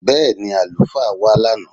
Bẹ́ẹni, alufaa wa lánà